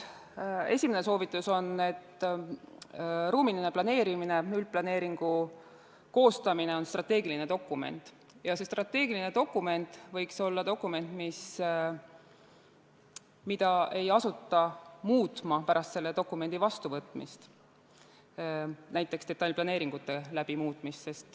Esimene soovitus on, et ruumiline planeerimine, üldplaneeringu koostamine on strateegiline dokument ja see strateegiline dokument võiks olla dokument, mida ei asuta pärast selle vastuvõtmist muutma, näiteks seda detailplaneeringute kaudu muutma.